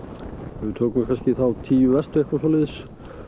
við tökum kannski þá tíu verstu eða eitthvað svoleiðis